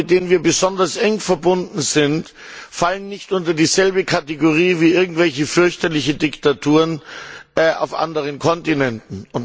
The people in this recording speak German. Staaten, mit denen wir besonders eng verbunden sind, fallen nicht unter dieselbe Kategorie wie irgendwelche fürchterliche Diktaturen auf anderen Kontinenten.